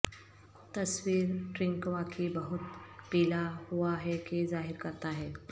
تصویر ٹرنک واقعی بہت پیلا ہوا ہے کہ ظاہر کرتا ہے